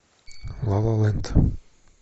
ла ла ленд